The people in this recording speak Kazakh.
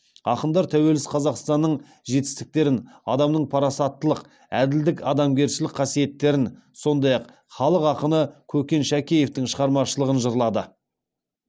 ақындар тәуелсіз қазақстанның жетістіктерін адамның парасаттылық әділдік адамгершілік қасиеттерін сондай ақ халық ақыны көкен шәкеевтің шығармашылығын жырлады